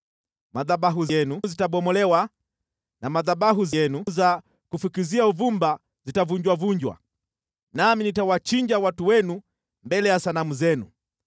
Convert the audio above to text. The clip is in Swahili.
Madhabahu yenu yatabomolewa na madhabahu yenu ya kufukizia uvumba yatavunjavunjwa, nami nitawachinja watu wenu mbele ya sanamu zenu.